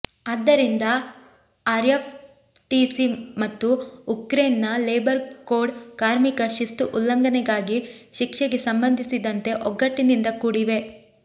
ಆದ್ದರಿಂದ RF TC ಮತ್ತು ಉಕ್ರೇನ್ನ ಲೇಬರ್ ಕೋಡ್ ಕಾರ್ಮಿಕ ಶಿಸ್ತು ಉಲ್ಲಂಘನೆಗಾಗಿ ಶಿಕ್ಷೆಗೆ ಸಂಬಂಧಿಸಿದಂತೆ ಒಗ್ಗಟ್ಟಿನಿಂದ ಕೂಡಿವೆ